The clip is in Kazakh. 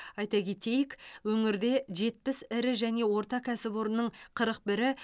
айта кетейік өңірде жетпіс ірі және орта кәсіпорынның қырық бірі